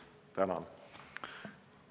Tänan!